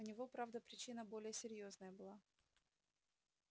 у него правда причина более серьёзная была